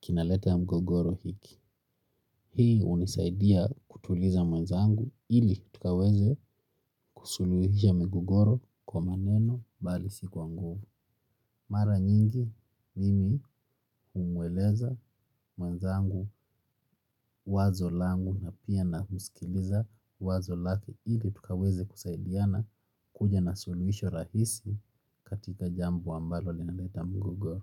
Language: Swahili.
kinaleta mgogoro hiki. Hii hunisaidia kutuliza mwenzangu ili tukaweze kusuluhisha migogoro kwa maneno bali si kwa nguvu. Mara nyingi mimi humweleza mwenzangu wazo langu na pia na msikiliza wazo lake ili tukaweze kusaidiana kuja na suluhisho rahisi katika jambo ambalo linaleta mgogoro.